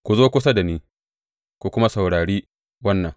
Ku zo kusa da ni ku kuma saurari wannan.